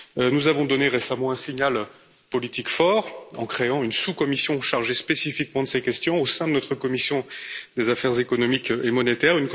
Nous avons donné récemment un signal politique fort en créant une sous commission chargée spécifiquement de ces questions au sein de notre commission des affaires économiques et monétaires.